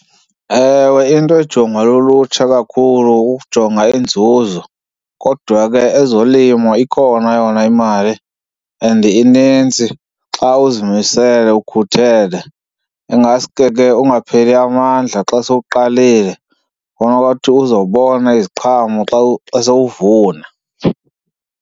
Ewe, into ejongwa lulutsha kakhulu kukujonga inzuzo kodwa ke ezolimo ikhona yona imali and inintsi xa uzimisele ukhuthele. Ingaske ke ungapheli amandla xa sowuqalile khona uzobona iziqhamo xa xa sowuvuna.